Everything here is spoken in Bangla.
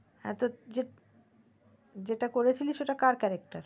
হা তুই যে যেটা করেছিলি ওটা কার character